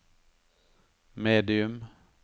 medium